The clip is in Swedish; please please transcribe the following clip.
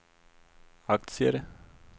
aktier